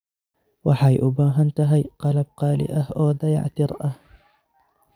Waxay u baahan tahay qalab qaali ah oo dayactir ah.